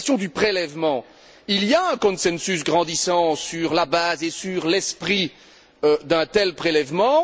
Sur la question du prélèvement, il y a un consensus grandissant sur la base et sur l'esprit d'un tel prélèvement.